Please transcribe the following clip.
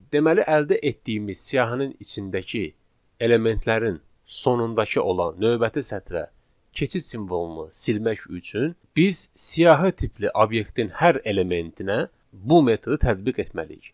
Deməli əldə etdiyimiz siyahinin içindəki elementlərin sonundakı olan növbəti sətrə keçid simvolunu silmək üçün biz siyahı tipli obyektin hər elementinə bu metodu tədbiq etməliyik.